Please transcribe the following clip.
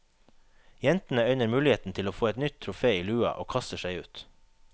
Jentene øyner muligheten til å få et nytt trofé i lua og kaster seg ut.